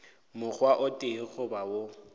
mokgwa o tee goba wo